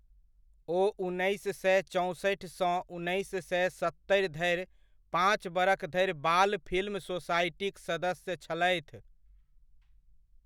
ओ उन्नैस सए चौंसठि सँ उन्नैस सए सत्तरि धरि पाँच बरख धरि बाल फिल्म सोसायटिक सदस्य छलथि।